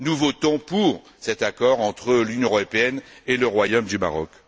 Nous votons pour cet accord entre l'Union européenne et le Royaume du Maroc.